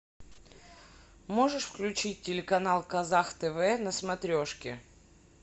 можешь включить телеканал казах тв на смотрешке